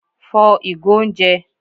fò igò oúnjẹ!